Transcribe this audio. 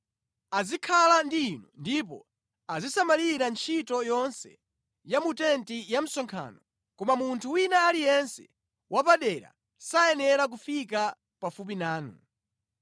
Azikhala ndi inu ndipo azisamalira ntchito yonse ya mu tenti ya msonkhano koma munthu wina aliyense wapadera sayenera kufika pafupi nanu.